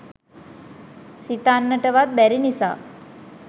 සිතන්නට වත් බැරි නිසා